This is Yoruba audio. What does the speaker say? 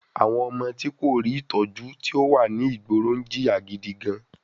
Àwọn ọmọ tí kò rí Ìtọ́jú tí ò wà ní ìgboro ń jìyà gidi gan-an